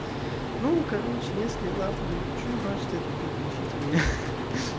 ну короче если завтра не напишу значит это где-то ищите меня